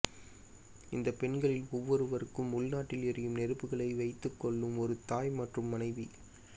இந்த பெண்களில் ஒவ்வொருவருக்கும் உள்நாட்டில் எரியும் நெருப்புகளை வைத்துக்கொள்ளும் ஒரு தாய் மற்றும் மனைவி